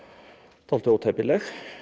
dálítið ótæpileg